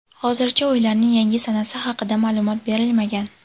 Hozircha o‘yinlarning yangi sanasi haqida ma’lumot berilmagan.